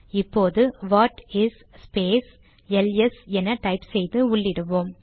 இப்போது what is space LS என type செய்து உள்ளிடுவோம்